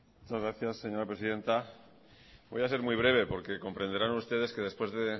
muchas gracias señora presidenta voy a ser muy breve porque comprenderán ustedes que después de